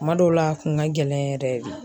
Kuma dɔw la a kun ka gɛlɛn yɛrɛ de.